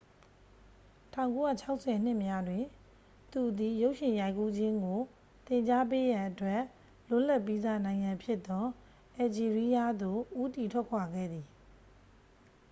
1960 နှစ်များတွင် သူသည် ရုပ်ရှင်ရိုက်ကူးခြင်းကို သင်ကြားပေးရန်အတွက် လွတ်လပ်ပြီးစ နိုင်ငံဖြစ်သော အယ်လ်ဂျီးရီးယားသို့ ဦးတည်ထွက်ခွာခဲ့သည်